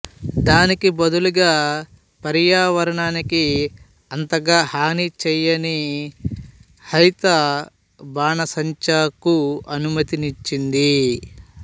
దానికి బదులుగా పర్యావరణానికి అంతగా హాని చేయని హైత బాణా సం చా కు అనుమతి నిచ్చింది